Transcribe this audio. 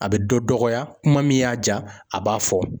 A bɛ dɔ dɔgɔya, kuma min y'a ja, a b'a fɔ.